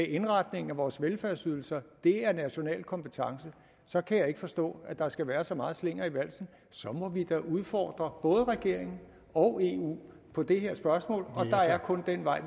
indretningen af vores velfærdsydelser er national kompetence så kan jeg ikke forstå at der skal være så meget slinger i valsen så må vi da udfordre både regeringen og eu på det her spørgsmål og der er kun den vej